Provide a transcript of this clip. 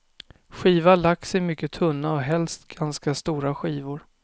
Skiva lax i mycket tunna och helst ganska stora skivor.